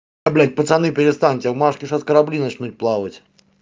блять пацаны перестаньте в маске сейчас корабли начнут плавать